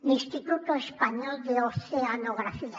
l’instituto espanyol de oceanografía